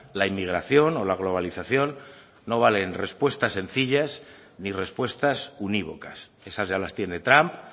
la inmigración o la globalización no valen respuestas sencillas ni respuestas univocas esas ya las tiene trump